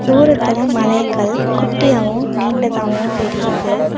தூரத்துல மலைகள் குட்டியாவு நீண்டதாவு தெரியிது.